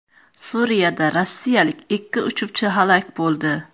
Suriyada rossiyalik ikki uchuvchi halok bo‘ldi.